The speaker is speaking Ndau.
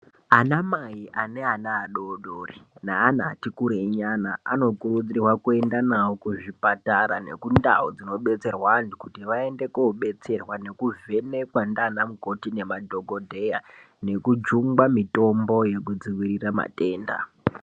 Ana mai ane ana adodori neana atikurei nyana anokurudzirwa kuenda nawo kuzvipatara nekundau dzinoenda kubetserwa antu kuti vaende kobetserwa nekuvhenekwa ndiana mukoti nemadhokodheya nekujunga mitombo yekudzivirira matenda.